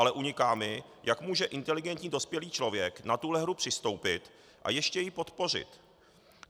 Ale uniká mi, jak může inteligentní dospělý člověk na tuto hru přistoupit a ještě ji podpořit.